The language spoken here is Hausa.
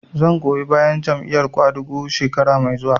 Zan goyi bayan Jam'iyar ƙwadago shekara mai zuwa